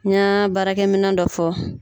N ɲa baarakɛ minɛ dɔ fɔ.